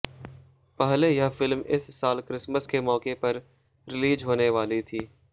पहले यह फिल्म इस साल क्रिसमस के मौके पर रिलीज होने वाली थी